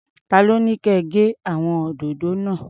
Ta ló ní kẹ gé àwọn òdòdó náà?